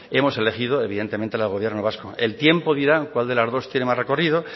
hemos elegido evidentemente la del gobierno vasco el tiempo dirá cuál de las dos tiene más recorrido